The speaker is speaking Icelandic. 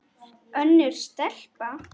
Önnur stelpa?